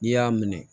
N'i y'a minɛ